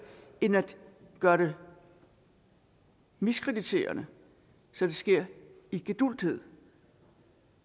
end at gøre det miskrediterende så det sker i gedulgthed